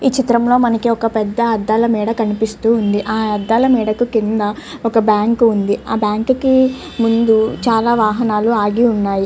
ఈ చిత్రంలో మనకి ఒక పెద్ద అద్దాల మెడ కనిపిస్తూ ఉంది. ఆ అద్ధాలు మెడకు కింద ఒక బ్యాంకు ఉంది. ఆ బ్యాంకు కి ముందు కింది చాలా వాహనాలు ఆగి ఉన్నవి.